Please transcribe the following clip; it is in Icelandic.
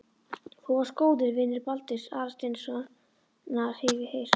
Þú varst góður vinur Baldurs Aðalsteinssonar, hef ég heyrt